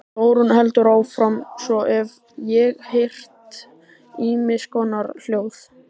Þórunn heldur áfram:- Svo hef ég heyrt ýmiss konar hljóð.